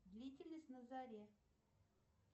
длительность на заре